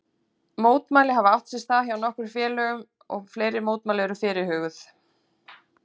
Mótmæli hafa átt sér stað hjá nokkrum félögum og fleiri mótmæli eru fyrirhuguð.